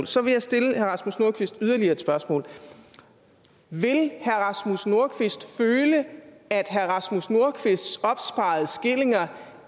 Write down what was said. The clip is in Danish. så vil jeg stille herre rasmus nordqvist yderligere et spørgsmål vil herre rasmus nordqvist føle at herre rasmus nordqvists opsparede skillinger